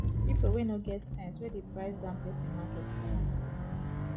people wey no get sense wey dey price down person market plenty